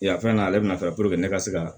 Yan fɛn na ale bɛna fɛn ne ka se ka